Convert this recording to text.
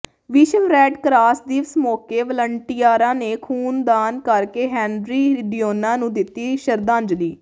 ਵਿਸ਼ਵ red cross ਦਿਵਸ ਮੌਕੇ ਵਲੰਟੀਅਰਾਂ ਨੇ ਖ਼ੂਨਦਾਨ ਕਰਕੇ ਹੈਨਰੀ ਡਿਊਨਾ ਨੂੰ ਦਿੱਤੀ ਸ਼ਰਧਾਂਜਲੀ